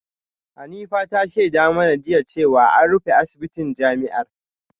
Hanifa ta shaida mana jiya cewa an rufe asibitin jami’ar